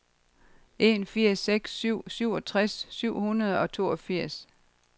en fire seks syv syvogtres syv hundrede og toogfirs